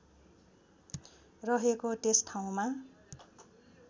रहेको त्यस ठाउँमा